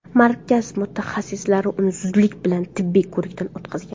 Markaz mutaxassislari uni zudlik bilan tibbiy ko‘rikdan o‘tkazgan.